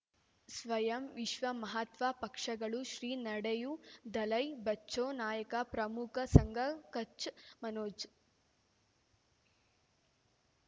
ಸ್ವಯಂ ವಿಶ್ವ ಮಹಾತ್ಮ ಪಕ್ಷಗಳು ಶ್ರೀ ನಡೆಯೂ ದಲೈ ಬಚೌ ನಾಯಕ ಪ್ರಮುಖ ಸಂಘ ಕಚ್ ಮನೋಜ್